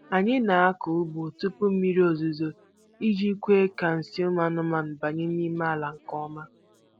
Anyị na-akọ ugbo tupu mmiri ozuzo iji kwe ka nsị ụmụ anụmanụ banye n'ime ala nke ọma.